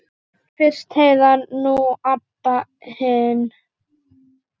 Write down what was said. Fyrst Heiða, nú Abba hin.